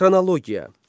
Xronologiya.